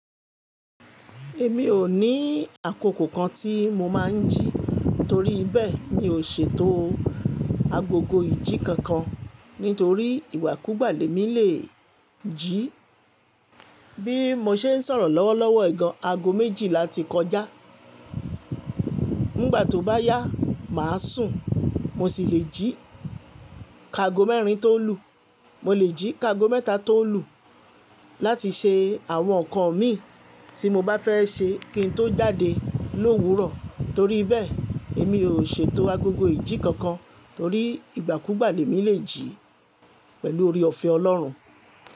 Èmi ò ní àkókò kan tí mo máà ń jí torí bẹ́ẹ̀ mi ò ṣe tó agogo ìjì kankan nítorí ìgbàkúgbà lẹ̀ mi lè jí. Bí mo ṣe ń sọ̀rọ̀ lọ́wọ́lọ́wọ́ yii gan, aago méjìlá ti kọjá. Nígbà tó bá yá, màa sùn mo sì lè jí kago mẹ́rin tó lù, mo lè jí kago mẹ́ta tó lù láti ṣe àwọn nǹkan mi tí mo bá fẹ́ ṣe kí n tó jáde lówurọ̀. Torí bẹ́ẹ̀ èmi ò ṣetó agogo ìjì kankan torí ìgbàkúgbà lẹ̀ mi lè jí pẹ̀lú ore ọ̀fẹ́ Ọlọ́run.